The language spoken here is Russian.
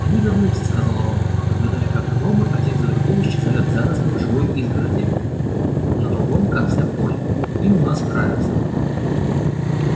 они вернутся сказал рон наблюдая как гномы один за другим исчезают в зарослях живой изгороди на другом конце поля им у нас нравится